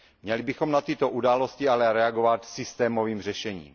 Měli bychom na tyto události ale reagovat systémovým řešením.